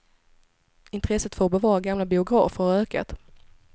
Intresset för att bevara gamla biografer har ökat.